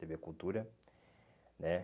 tê vê Cultura, né?